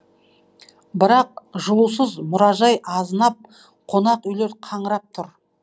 бірақ жылусыз мұражай азынап қонақүйлер қаңырап тұр